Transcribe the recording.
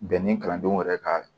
Bɛn ni kalandenw yɛrɛ ka